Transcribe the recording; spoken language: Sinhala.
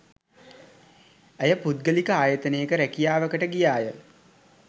ඇය පුද්ගලික ආයතනයක රැකියාවකට ගියාය